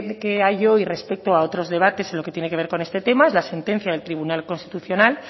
que hay hoy respeto a otros debates en lo que tiene que ver con este tema es la sentencia del tribunal constitucional